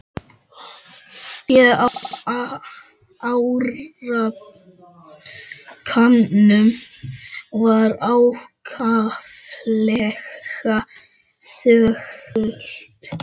Fólkið á árbakkanum var ákaflega þögult.